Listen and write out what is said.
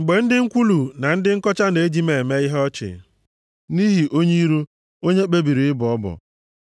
mgbe ndị nkwulu na ndị nkọcha na-eji m eme ihe ọchị, nʼihi onye iro, onye kpebiri ịbọ ọbọ.